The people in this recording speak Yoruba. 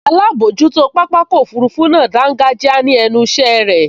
Alábojútó pápákọ̀ òfurufú náà dángájíá ní ẹnu ìṣẹ́ irẹ̀